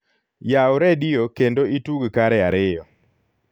yaw redio kendo itug kare ariyo